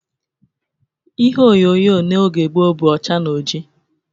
Ihe onyonyo n'oge gboo, bụ ọcha na ọjị